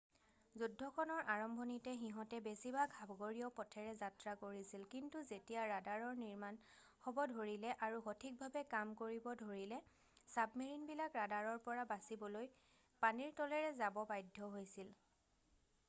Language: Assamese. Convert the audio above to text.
যুদ্ধখনৰ আৰম্ভণিতে সিহঁতে বেছিভাগ সাগৰীয় পথেৰে যাত্ৰা কৰিছিল কিন্তু যেতিয়া ৰাডাৰৰ নিৰ্মাণ হ'ব ধৰিলে আৰু সঠিকভাৱে কাম কৰিব ধৰিলে চাবমেৰিনবিলাক ৰাডাৰৰ পৰা বাচিবলৈ পানীৰ তলেৰে যাব বাধ্য হৈছিল